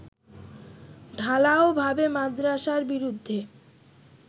ঢালাও ভাবে মাদ্রাসার বিরুদ্ধে